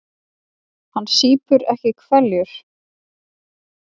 Hann sýpur ekki hveljur.